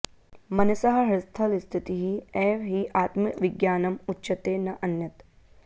मनसः हृत्स्थलस्थितिः एव हि आत्मविज्ञानं उच्यते न अन्यत्